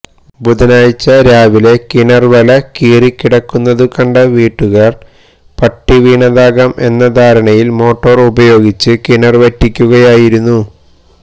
ബുധനാഴ്ച രാവിലെ കിണര് വല കീറിക്കിടക്കുന്നതു കണ്ട വീട്ടുകാര് പട്ടി വീണതാകാം എന്ന ധാരണയില് മോട്ടോര് ഉപയോഗിച്ച് കിണര് വറ്റിക്കുകയായിരുന്നു